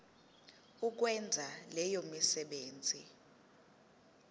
ukwenza leyo misebenzi